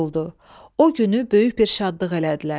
O günü böyük bir şadlıq elədilər.